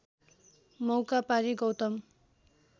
मौका पारी गौतम